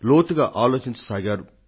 లోతుగా ఆలోచించ సాగారు